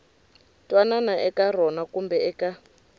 twanana eka rona kumbe eka